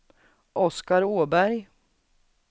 Oskar Åberg